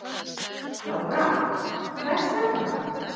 Lára: Hvers vegna?